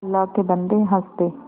अल्लाह के बन्दे हंस दे